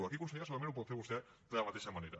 aquí consellera segurament ho pot fer vostè de la mateixa manera